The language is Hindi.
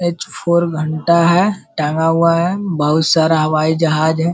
एच फोर घंटा है टंगा हुआ है बहुत सारा हवाई जहाज हैं।